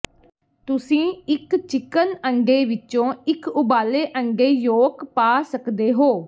ਤੁਸੀਂ ਇੱਕ ਚਿਕਨ ਅੰਡੇ ਵਿੱਚੋਂ ਇੱਕ ਉਬਾਲੇ ਅੰਡੇ ਯੋਕ ਪਾ ਸਕਦੇ ਹੋ